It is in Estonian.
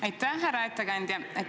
Aitäh, härra ettekandja!